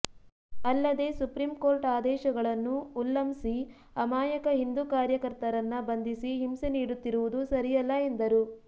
ಅಲ್ಲದೆ supreme court ಆದೇಶಗಳನ್ನು ಉಲ್ಲಂ ಸಿ ಅಮಾಯಕ ಹಿಂದೂ ಕಾರ್ಯ ಕರ್ತರನ್ನ ಬಂಧಿಸಿ ಹಿಂಸೆ ನೀಡುತ್ತಿರುವುದು ಸರಿಯಲ್ಲ ಎಂದರು